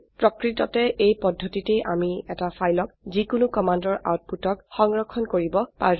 প্ৰকৃততে এই পদ্ধতিতে আমি এটি ফাইলক যিকোনো কমান্ডৰ আউটপুটক সংৰক্ষণ কৰিব পাৰো